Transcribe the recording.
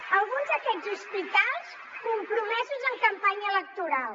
en alguns d’aquests hospitals compromesos en campanya electoral